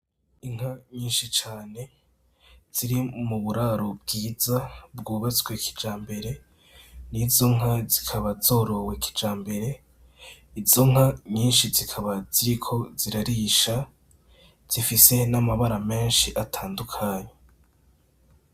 Inka nyishi cane ziri mu buraro bwiza bwubatswe kijambere. Izo nka zikaba zorowe kijambere, inka nyinshi zikaba ziriko zirarisha zifise n‘ amabara menshi atandukanye .